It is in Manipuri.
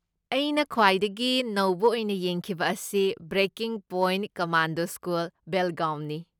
ꯑꯩꯅ ꯈ꯭ꯋꯥꯏꯗꯒꯤ ꯅꯧꯕ ꯑꯣꯏꯅ ꯌꯦꯡꯈꯤꯕ ꯑꯁꯤ ''ꯕ꯭ꯔꯦꯀꯤꯡ ꯄꯣꯏꯟꯠ ꯀꯃꯥꯟꯗꯣ ꯁ꯭ꯀꯨꯜ, ꯕꯦꯜꯒꯥꯎꯟ"ꯅꯤ꯫